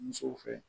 Musow fɛ